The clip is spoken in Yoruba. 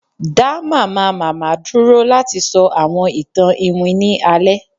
da Mamamama dúró lati sọ awọn itan iwin ni alẹ